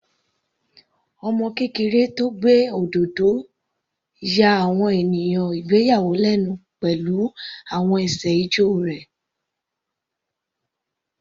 Ọmọ kékeré tó gbé òdodo ya àwọn ènìyàn ìgbéyàwó lẹ́nu pẹ̀lú àwọn ẹsẹ̀ ijó rẹ̀.